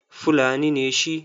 Fulani ne shi.